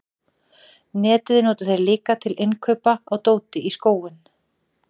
netið nota þeir líka til innkaupa á dóti í skóinn